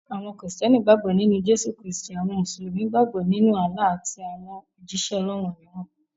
Àwọn kírísítẹ́nì gbàgbọ́ nínú Jésù Kristì; àwọn musulumi gbàgbọ́ nínú Allah àti àwọn òjíṣẹ́ Ọlọ́run mìíràn.